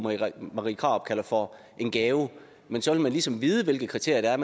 marie krarup kalder for en gave men så vil man ligesom vide hvilke kriterier